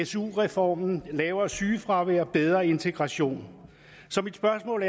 su reformen og lavere sygefravær og bedre integration så mit spørgsmål